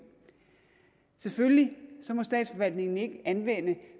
selvfølgelig må statsforvaltningen ikke anvende